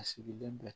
A sigilen bɛ